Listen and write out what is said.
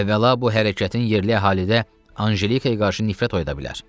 Əvvəla bu hərəkətin yerli əhalidə Anjelikaya qarşı nifrət oyda bilər.